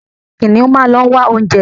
Kìnìún máa ń ló wá oúnjẹ.